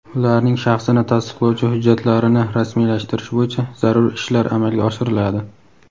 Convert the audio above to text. ularning shaxsini tasdiqlovchi hujjatlarini rasmiylashtirish bo‘yicha zarur ishlar amalga oshiriladi.